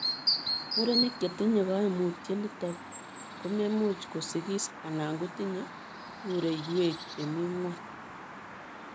Murenik chetinyee kaimutiet nitok komemuch kosigis anan ko tinyee pureiwek chemii ngony.